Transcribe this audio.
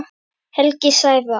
Helgi Sævar.